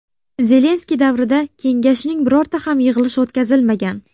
Zelenskiy davrida kengashning birorta ham yig‘ilishi o‘tkazilmagan.